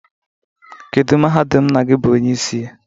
Kedu mahadum nna gi bụ onyeisi ya?